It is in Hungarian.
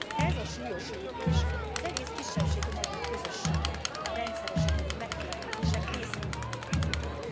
Ez a súlyos lépés az egész kisebbségi magyar közösséget rendszeresen érő megfélemlítések részeként tudható be.